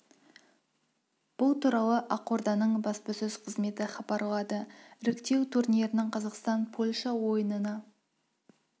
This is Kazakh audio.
бұл туралы ақорданың баспасөз қызметі хабарлады бұл туралы ақорданың баспасөз қызметі хабарлады іріктеу турнирінің қазақстан-польша ойынына